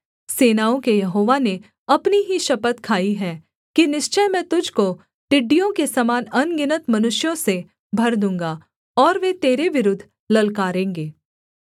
सेनाओं के यहोवा ने अपनी ही शपथ खाई है कि निश्चय मैं तुझको टिड्डियों के समान अनगिनत मनुष्यों से भर दूँगा और वे तेरे विरुद्ध ललकारेंगे